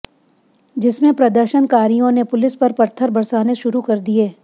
जिसमें प्रदर्शनकारियों ने पुलिस पर पत्थर बरसाने शुरू कर दिए